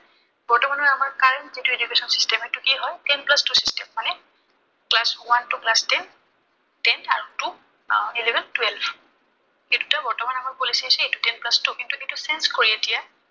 বৰ্তমানৰ আমাৰ current যিটো education system সেইটো কি হয়, ten plus two system মানে class one to class ten, tenth আৰু two, eleven twelve এই দুটা বৰ্তমান আমাৰ policy আছে। এইটো ten plus two এইটো কিন্তু change কৰি এতিয়া